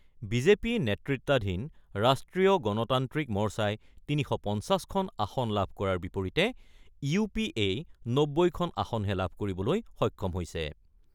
BJP নেতৃত্বাধীন ৰাষ্ট্ৰীয় গণতান্ত্ৰিক মৰ্চাই ৩৫০খন আসন লাভ কৰাৰ বিপৰীতে ইউ পি এই ৯০খন আসনহে লাভ কৰিবলৈ সক্ষম হৈছে।